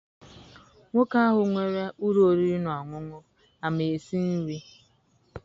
Nwoke ahụ nwere ụlọ oriri na ọṅụṅụ ama esi nri?